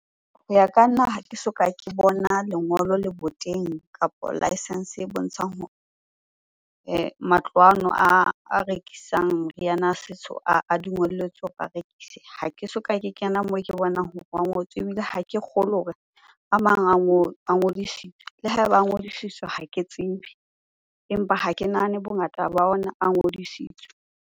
Ho ya ka nna ha ke soka ke bona lengolo leboteng kapa licence e bontshang hore matlo ano a rekisang meriana ya setso a dungwelletswe hore ba rekise. Ha ke soka ke kena moo ke bonang hore ngotse ebile ha ke kgolwe hore a mang a moo a ngodisitswe. Le hae ba a ngodisitswe ha ke tsebe empa ha ke nahane bongata ba ona a ngodisitswe.